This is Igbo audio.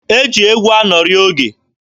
E ji egwu anọrị oge.